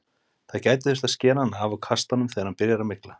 Það gæti þurft að skera hann af og kasta honum þegar hann byrjar að mygla.